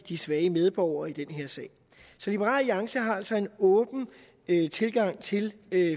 de svage medborgere i den her sag så liberal alliance har altså en åben tilgang til